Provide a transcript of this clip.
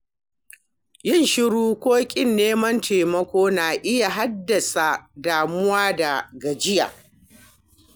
Yin shiru ko ƙin neman taimako na iya haddasa damuwa da gajiya.